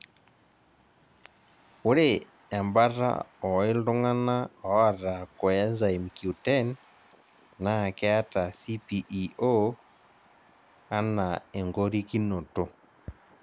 ore ebata oo ltung'ana oota coenzyme Q10 naa keeta CPEO anaa engorikinoto